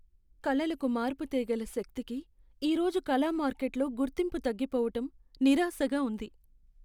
కళలకు మార్పు తేగల శక్తికి ఈ రోజు కళా మార్కెట్లో గుర్తింపు తగ్గిపోవటం నిరాశగా ఉంది.